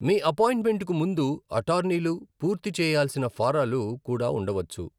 మీ అపాయింట్మెంట్కు ముందు అటార్నీలు పూర్తి చేయాల్సిన ఫారాలు కూడా ఉండవచ్చు.